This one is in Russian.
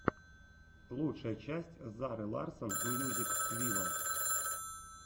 лучшая часть зары ларсон мьюзик виво